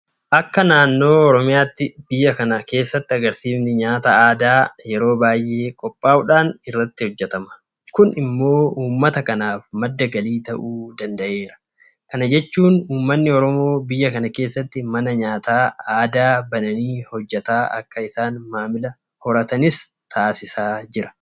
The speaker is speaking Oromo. Akka naannoo Oromiyaatti biyya kana keessatti agarsiifni nyaata aadaa yeroo baay'ee qophaa'uudhaan irratti hojjetama. Kun immoo uummata kanaaf madda galii ta'uu danda'eera. Kana jechuun uummanni Oromoo biyya kana keessatti mana nyaata aadaa bananii hojjetan akka isaan maamila horatanis taasisaa jira.